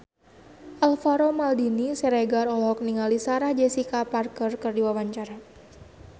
Alvaro Maldini Siregar olohok ningali Sarah Jessica Parker keur diwawancara